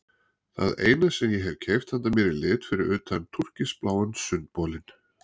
Það eina sem ég hef keypt handa mér í lit fyrir utan túrkisbláa sundbolinn.